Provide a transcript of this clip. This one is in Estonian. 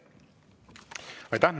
Aitäh!